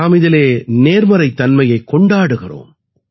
நாம் இதிலே நேர்மறைத்தன்மையைக் கொண்டாடுகிறோம்